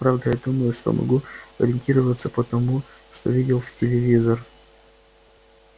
правда я думаю что могу ориентироваться по тому что видел в телевизор